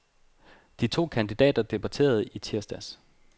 De to kandidater debaterede i tirsdags.